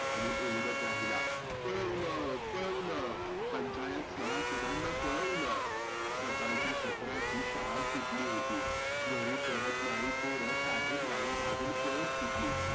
आणि ओरडत राहीला. पळवल पळवल पंचायत सभासदांना पळवलं. सकाळच्या सत्रातली शाळा सुटली होती. घरी परतनारी पोरं साहेबरावां मागुन पळत सुटली.